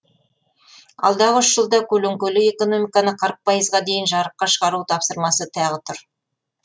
алдағы үш жылда көлеңкелі экономиканы пайызға дейін жарыққа шығару тапсырмасы тағы тұр